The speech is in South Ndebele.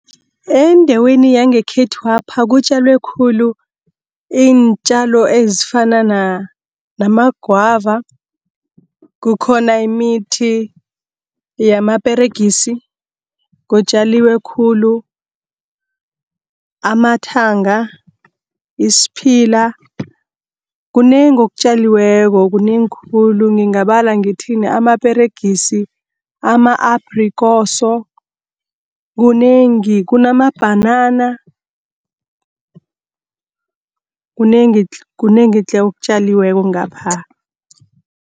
Endaweni yangekhethwapha kutjalwa khulu iintjalo ezifana, namagwava, kukhona imithi yamaperegisi, kutjalwa khulu amathanga, isiphila, kunengi okutjaliweko kunengi khulu. Ngingabala ngithini amaperegisi, ama-aprekoso, kunengi kunamabhanana, kunengi tle, okutjaliweko ngapha.